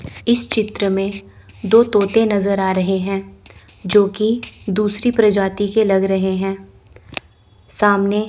इस चित्र में दो तोते नजर आ रहे हैं जोकि दूसरी प्रजाति के लग रहे हैं सामने--